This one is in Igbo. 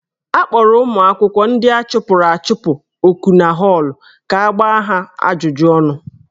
A kpọrọ ụmụ akwụkwọ ndị a chụpụrụ achụpụ oku na họọlụ ka a gbaa ha ajụjụ ọnụ.